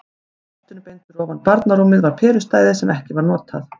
Í loftinu beint fyrir ofan barnarúmið var perustæði sem ekki var notað.